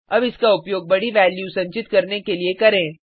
अब इसका उपयोग बडी वैल्यू संचित करने के लिए करें